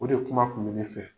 O de kuma kun bɛ ne fɛ.